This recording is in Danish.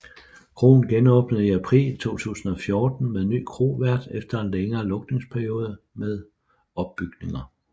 Kroen genåbnede i april 2014 med ny krovært efter en længere lukningsperiode med opbygninger